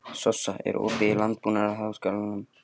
Sossa, er opið í Landbúnaðarháskólanum?